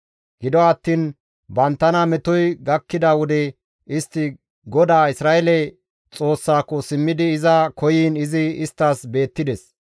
Gido attiin banttana metoy gakkida wode istti GODAA Isra7eele Xoossaako simmidi iza koyiin izi isttas beettides.